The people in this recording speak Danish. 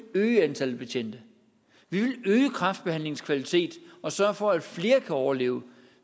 øge antallet af betjente vi vil øge kræftbehandlingens kvalitet og sørge for at flere kan overleve